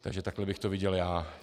Takže takhle bych to viděl já.